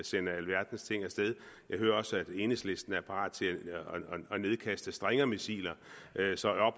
sende alverdens ting af sted jeg hører også at enhedslisten er parat til at nedkaste stingermissiler så